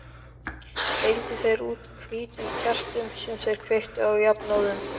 Deildu þeir út hvítum kertum sem þeir kveiktu á jafnóðum.